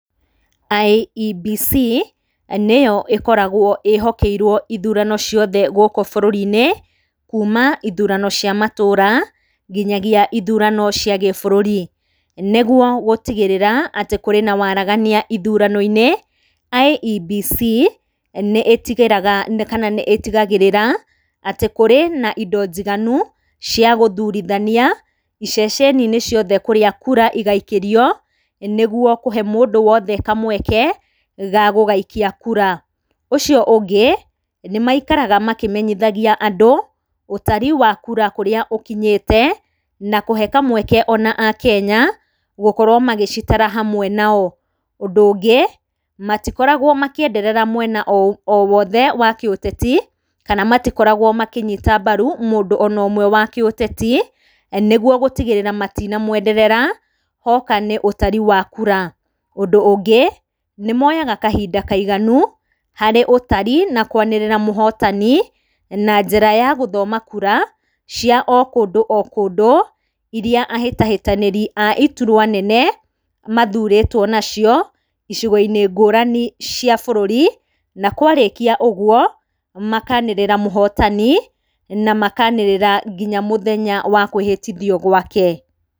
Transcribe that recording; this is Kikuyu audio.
IEBC nĩ yo ĩkoragwo ĩhokeirwo ithurano ciothe gũkũ bũrũri-inĩ, kuuma ithurano cia matũra nginyagia ithurano cia gĩbũrũri. Nĩguo gũtigĩrĩra atĩ kũrĩ na waaragania ithurano-inĩ, IEBC nĩ ĩtigĩraga kana nĩ ĩtigagĩrĩra atĩ kũrĩ na indo njiganu cia gũthurithania iceceni-inĩ ciothe kũrĩa kura igaikĩrio nĩguo kũhe mũndũ wothe kamweka ga gũgaikia kũra. Ũcio ũngĩ nĩ maikaraga mamenyithagia andũ ũtari wa kura kũrĩa ũkinyĩte na kũhe kamweke o na akenya gũkorwo magĩcitara hamwe nao. Ũndũ ũngĩ, matikoragwo makĩenderera mwena o wothe wa kĩũteti, kana matikoragwo makĩnyita mbaru mũndũ o na ũmwe wa kĩũteti nĩguo gũtigĩrĩra matina mwenderera hoka nĩ ũtari wa kura. Ũndũ ũngĩ nĩ mooyaga kahinda kaiganu harĩ ũtari na kũanĩrĩra mũhotani na njĩra ya gũthoma kura cia o kũndũ o kũndũ, iria ahĩtahĩtanĩri a iturua nene mathurĩtwo nacio icigo-inĩ ngũrani cia bũrũri. Na kwarĩkĩa ũguo, makaanĩrĩra mũhotani na makaanĩrĩra nginya mũthenya wa kũhĩtithio gwake.